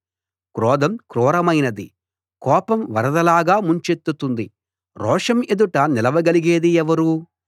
క్రోధం క్రూరమైనది కోపం వరదలాగా ముంచెత్తుతుంది రోషం ఎదుట నిలవ గలిగేది ఎవరు